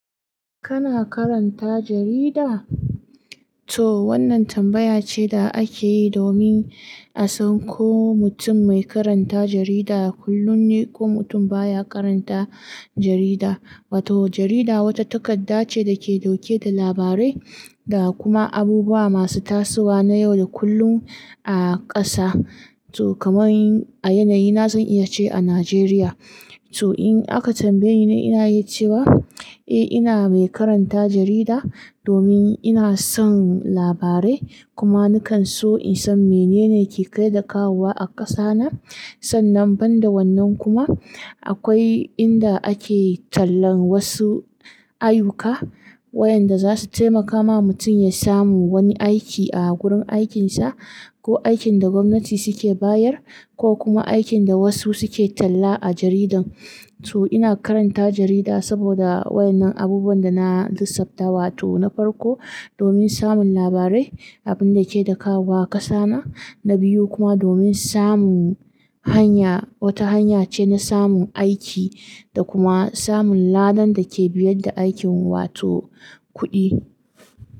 Kana karanta jarida? To wannan tambaya ce da ake yi domin a san ko mutum mai karanta jarida kullum ne ko mutum baya karanta jarida. Wato jarida wata takarda ce da ke dauke da labarai da kuma abubuwa masu tasowa na yau da kullum a kasa. To kaman a yanayi na zan iya ce a Najeriya. To in aka tambaye ni, ina yi ce wa, eh ina mai karanta jarida domin ina son labarai kuma nakan so in san mene ne ke kai da kawowa a kasa na. Sannan banda wannan kuma akwai inda ake tallan wasu ayyuka wayanda za su taimaka ma mutum ya samu wani aiki a gurin aikinsa ko aikin da gwamnati suke bayar ko kuma aikin da wasu suke tella a jaridan. To ina karanta jarida saboda wa'ennan abubuwan da na lissafta. Wato na farko domin samun labarai, abin da ke da kawowa kasa na. Na biyu kuma domin samun hanya, wata hanya ce na samun aiki da kuma samun ladan da ke biyar da aikin wato kuɗi.